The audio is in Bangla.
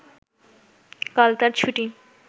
কাল তার ছুটি